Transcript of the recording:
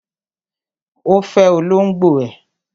Ó fẹ olóngbò ẹ̀.